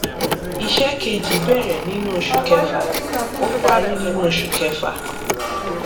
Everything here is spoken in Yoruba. iṣẹ kejī bẹrẹ nínú oṣù kẹfà ó parí nínú oṣù kẹfà